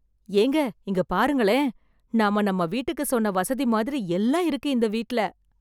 ஏங்க இங்க பாருங்களே! நாம நம்ம வீட்டுக்கு சொன்ன வசதி மாதிரி எல்லாம் இருக்கு இந்த வீட்டுல